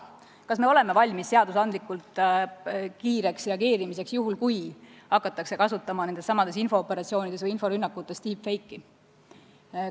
Kas me oleme seadusandlikult valmis kiirelt reageerima, juhul kui hakatakse nendessamades infooperatsioonides või inforünnakutes kasutama deepfake´i?